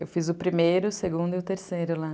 Eu fiz o primeiro, o segundo e o terceiro lá.